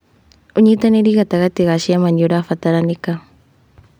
ũnyitanĩri gatagatĩ ga ciama nĩ ũrabataranĩka.